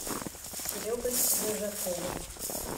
серегой рыжаковым